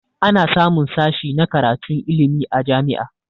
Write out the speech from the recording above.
Ana samun sashi na karatun ilmi a jami'a